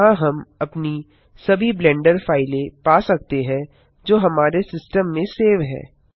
यहाँ हम अपनी सभी ब्लेंडर फाइलें पा सकते हैं जो हमारे सिस्टम में सेव हैं